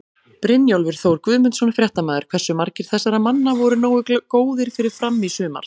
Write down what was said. Brynjólfur Þór Guðmundsson, fréttamaður: Hversu margir þessara manna voru nógu góðir fyrir Fram í sumar?